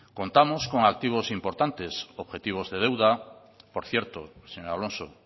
contamos con activos importantes objetivos de deuda por cierto señor alonso